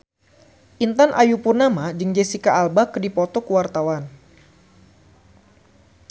Intan Ayu Purnama jeung Jesicca Alba keur dipoto ku wartawan